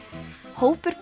hópur